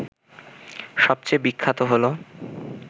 সবচেয়ে বিখ্যাত হল